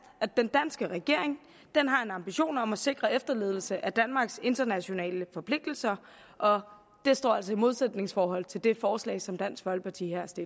at den danske regering har en ambition om at sikre efterlevelse af danmarks internationale forpligtelser og det står altså i modsætningsforhold til det forslag som dansk folkeparti